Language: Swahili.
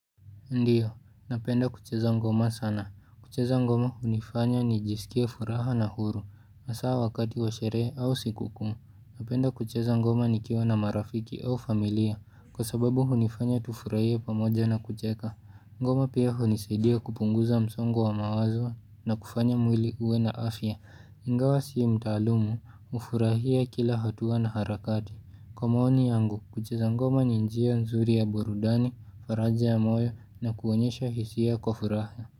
Ndiyo, napenda kucheza ngoma sana. Kucheza ngoma hunifanya ni jisikie furaha na huru. Hasaa wakati wa sherehe au sikuku. Napenda kucheza ngoma nikiwa na marafiki au familia. Kwa sababu hunifanya tufurahie pamoja na kucheka. Ngoma pia hunisaidia kupunguza msongo wa mawazo na kufanya mwili uwe na afya. Ingawa sii mtaalumu, hufurahia kila hatua na harakati. Kwa maoni yangu kucheza ngoma ni njia nzuri ya burudani, faraja ya moyo na kuonyesha hisia kwa furahna.